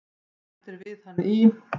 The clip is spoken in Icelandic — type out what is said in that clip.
Rætt er við hann í